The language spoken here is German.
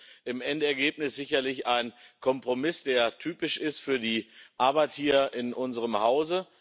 Es ist im Endeergebnis sicherlich ein Kompromiss, der typisch ist für die Arbeit hier in unserem Haus.